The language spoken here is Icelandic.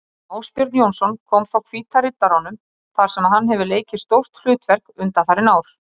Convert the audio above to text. Ásbjörn Jónsson kom frá Hvíta Riddaranum þar sem hann hefur leikið stórt hlutverk undanfarin ár.